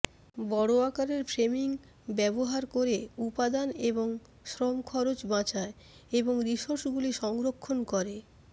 বড় আকারের ফ্রেমিং ব্যবহার করে উপাদান এবং শ্রম খরচ বাঁচায় এবং রিসোর্সগুলি সংরক্ষণ করে